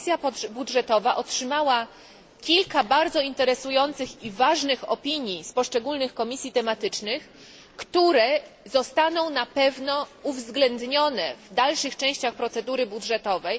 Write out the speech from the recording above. Komisja Budżetowa otrzymała kilka bardzo interesujących i ważnych opinii z poszczególnych komisji tematycznych, które zostaną na pewno uwzględnione w dalszych częściach procedury budżetowej.